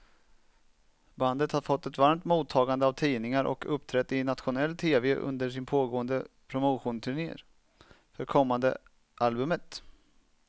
Bandet har fått ett varmt mottagande av tidningar och uppträtt i nationell tv under sin pågående promotionturné för kommande albumet.